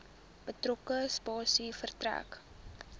betrokke spasie verstrek